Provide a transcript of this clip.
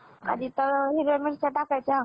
आधी तर हिरव्या मिरच्या टाकायच्या.